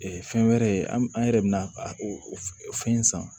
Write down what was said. fɛn wɛrɛ ye an yɛrɛ bɛ na o fɛn in san